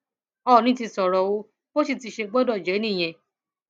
oọnì ti sọrọ o bó sì ti ṣe gbọdọ jẹ nìyẹn